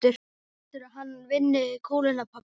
Heldurðu að hann vinni kúluna pabbi?